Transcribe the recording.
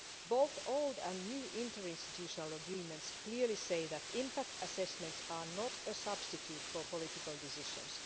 Both old and new inter institutional agreements clearly say that impact assessments are not a substitute for political decisions.